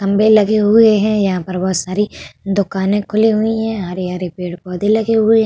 खम्बे लगे हुए हैं। यहाँ पर बहोत सारे दुकान खुली हुई हैं। हरे-हरे पेड़ पौधे लगे हुए --